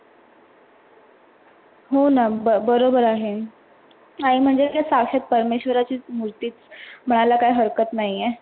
हो ना बरोबर आहे. आई म्हणजे साक्षात परमेश्वराची मूर्तिच मनायला काहि हरकत नाही हे.